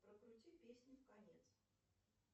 прокрути песню в конец